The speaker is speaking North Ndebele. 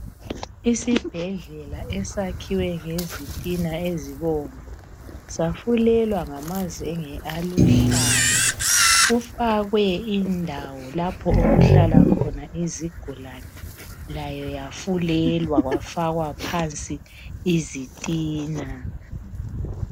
Isibhedlela esakhiwe ngezitina ezibomvu safulelwa ngamazenge aluhlaza kufakwe indawo lapho okuhlala khona izigulane layo yafulelwa kwafakwa phansi izitina